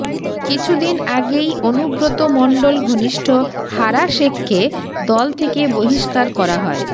কিছুদিন আগেই অনুব্রত মণ্ডল ঘনিষ্ঠ হারা শেখকে দল থেকে বহিষ্কার করা হয়